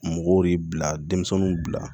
Mɔgɔw de bila denmisɛnninw bila